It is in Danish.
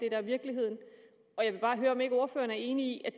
er virkeligheden og jeg vil bare høre om ikke ordføreren er enig